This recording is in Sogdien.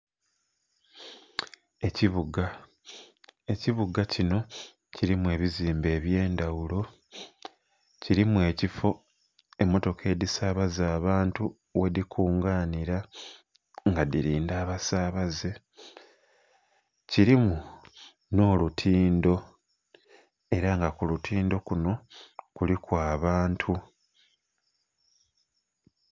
Ekibuga, ekibuga kino kirimu ebizimbe ebyendhaghulo kirimu ekifo emotoka edhisabaza abantu ghedhikunganira nga dhirindha abasabaze kirimu n'olutindho era nga kulutindho kuno kuliku abantu.